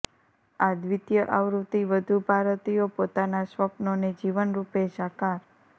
આ દ્વિતીય આવૃત્તિ વધુ ભારતીયો પોતાના સ્વપ્નોને જીવનરુપે સાકાર